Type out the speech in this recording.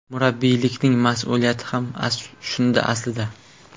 Murabbiylikning mas’uliyati ham shunda aslida.